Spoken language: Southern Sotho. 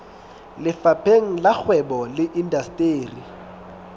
lefapheng la kgwebo le indasteri